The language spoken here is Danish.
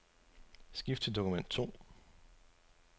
Skift til dokument to.